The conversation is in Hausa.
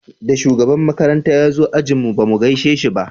Da shugaban makaranta ya zo ajin mu ba mu gaishe shi ba